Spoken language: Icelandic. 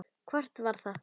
Hvort það var!